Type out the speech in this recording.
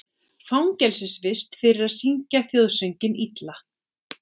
Fangelsisvist fyrir að syngja þjóðsönginn illa